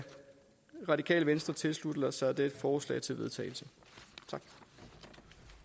radikale venstre tilslutte sig dette forslag til vedtagelse